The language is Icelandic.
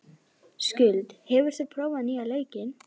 Skuld, hefur þú prófað nýja leikinn?